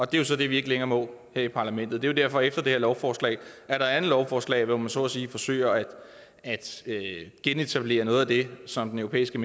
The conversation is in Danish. det er så det vi ikke længere må her i parlamentet det er derfor efter det her lovforslag er et andet lovforslag hvor man så at sige forsøger at genetablere noget af det som den europæiske